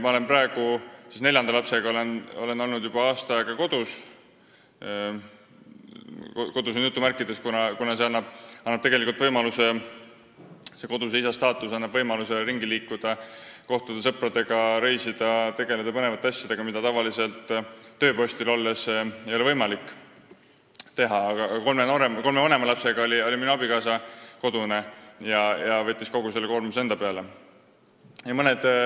Ma olen praeguseks neljanda lapsega juba aasta aega kodus olnud – sõna "kodus" on jutumärkides, kuna koduse isa staatus annab võimaluse ringi liikuda, kohtuda sõpradega, reisida ja tegeleda põnevate asjadega, mida tavaliselt tööpostil olles ei ole võimalik teha –, aga kolme vanema lapse puhul oli minu abikaasa kodune ja võttis kogu selle koormuse enda peale.